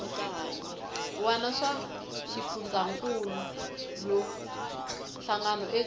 wana swa xifundzankuluwa hlangano eka